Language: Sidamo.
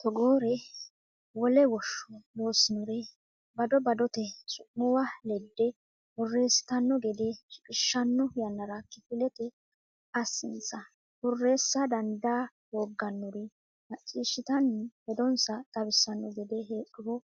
togoore wole woshsho loossinore bado badote su muwa ledde borreessitanno gede shiqishshanno yannara kifilete assinsa Borreessa dandaa hooggannori macciishshitanni hedonsa xawissanno gede heedhuro